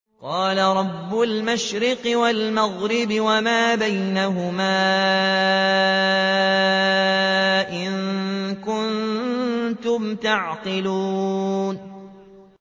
قَالَ رَبُّ الْمَشْرِقِ وَالْمَغْرِبِ وَمَا بَيْنَهُمَا ۖ إِن كُنتُمْ تَعْقِلُونَ